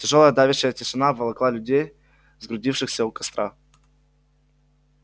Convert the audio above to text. тяжёлая давящая тишина обволокла людей сгрудившихся у костра